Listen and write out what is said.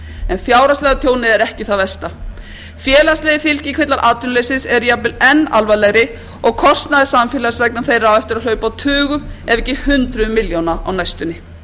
en fjárhagslega tjónið er ekki það versta félagslegir fylgikvillar atvinnuleysis eru jafnvel enn alvarlegri og kostnaður samfélagsins vegna þeirra á eftir að hlaupa á tugum ef ekki hundruðum milljóna á næstunni